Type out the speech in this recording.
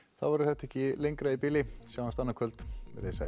þá verður þetta ekki lengra í bili sjáumst annað kvöld verið sæl